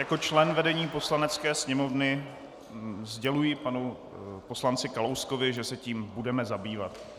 Jako člen vedení Poslanecké sněmovny sděluji panu poslanci Kalouskovi, že se tím budeme zabývat.